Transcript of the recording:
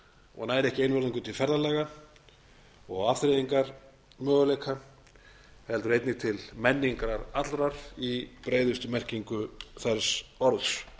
og nær ekki einvörðungu til ferðalaga og afþreyingarmöguleika heldur einnig til menningar allrar í breiðustu merkingu þess orðs